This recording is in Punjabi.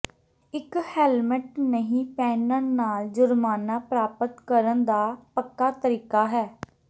ਇਕ ਹੈਲਮਟ ਨਹੀਂ ਪਹਿਨਣ ਨਾਲ ਜੁਰਮਾਨਾ ਪ੍ਰਾਪਤ ਕਰਨ ਦਾ ਪੱਕਾ ਤਰੀਕਾ ਹੈ